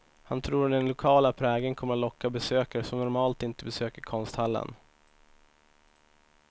Han tror att den lokala prägeln kommer att locka besökare som normalt inte besöker konsthallen.